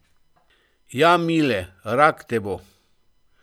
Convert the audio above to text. Ja, Mile, rak te bo.